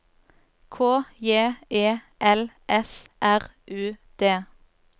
K J E L S R U D